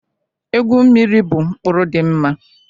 Egwu mmiri bụ mkpụrụ dị mma